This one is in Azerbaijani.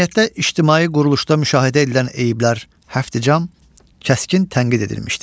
Cəmiyyətdə ictimai quruluşda müşahidə edilən eyiblər, Həfticəm, kəskin tənqid edilmişdir.